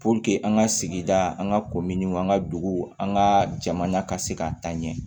an ka sigida an ka kominiw an ka duguw an ka jamana ka se ka taa ɲɛ